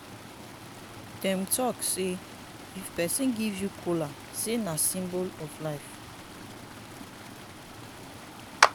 dem talk sey if pesin give you kola sey na symbol of life.